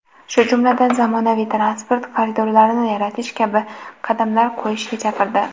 shu jumladan zamonaviy transport koridorlarini yaratish kabi qadamlar qo‘yishga chaqirdi.